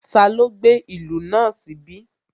Taló gbé ìlú náà níbí?